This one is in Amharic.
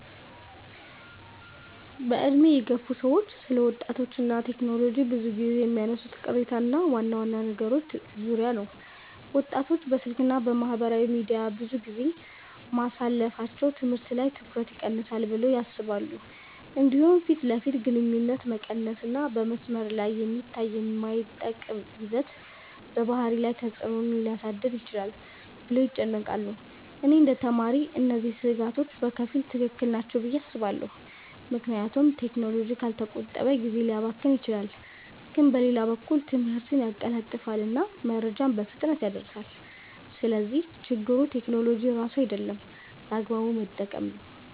በዕድሜ የገፉ ሰዎች ስለ ወጣቶች እና ቴክኖሎጂ ብዙ ጊዜ የሚያነሱት ቅሬታ ዋና ዋና ነገሮች ዙሪያ ነው። ወጣቶች በስልክ እና በማህበራዊ ሚዲያ ብዙ ጊዜ ማሳለፋቸው ትምህርት ላይ ትኩረት ይቀንሳል ብለው ያስባሉ። እንዲሁም ፊት ለፊት ግንኙነት መቀነስ እና በመስመር ላይ የሚታይ የማይጠቅም ይዘት በባህሪ ላይ ተፅዕኖ ሊያሳድር ይችላል ብለው ይጨነቃሉ። እኔ እንደ ተማሪ እነዚህ ስጋቶች በከፊል ትክክል ናቸው ብዬ አስባለሁ፣ ምክንያቱም ቴክኖሎጂ ካልተቆጠበ ጊዜ ሊያባክን ይችላል። ግን በሌላ በኩል ትምህርትን ያቀላጥፋል እና መረጃን በፍጥነት ያደርሳል። ስለዚህ ችግሩ ቴክኖሎጂ ራሱ አይደለም፣ በአግባቡ መጠቀም ነው።